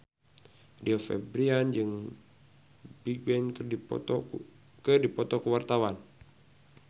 Rio Febrian jeung Bigbang keur dipoto ku wartawan